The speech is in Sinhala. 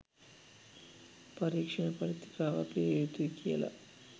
පරීක්ෂණ පත්‍රිකාවක් ලිවිය යුතුයි කියල